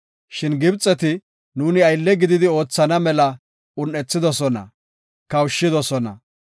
Shin Gibxeti nuuni aylle gididi oothana mela un7ethidosona; kawushidosona.